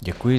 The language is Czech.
Děkuji.